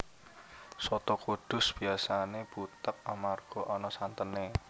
Soto Kudus biyasané butheg amarga ana santené